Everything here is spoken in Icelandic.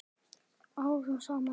Árum saman?